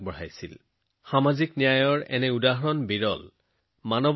তাত যেতিয়া মহামাৰীৰ ভয়ৰ সৃষ্টি হল তেতিয়া তেওঁলোকে জনসাধাৰণৰ সেৱাত নিজকে সমৰ্পণ কৰিলে